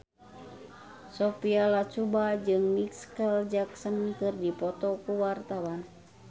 Sophia Latjuba jeung Micheal Jackson keur dipoto ku wartawan